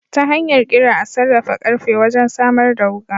Ta hanyar Kira a sarrafa karfe wajen samar da wuka.